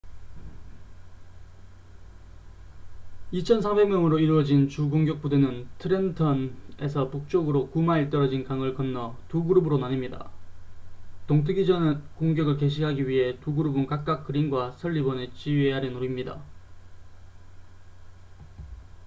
2,400명으로 이루어진 주 공격 부대는 트렌턴에서 북쪽으로 9마일 떨어진 강을 건너 두 그룹으로 나뉩니다 동트기 전 공격을 개시하기 위해 두 그룹은 각각 그린과 설리번의 지휘 아래 놓입니다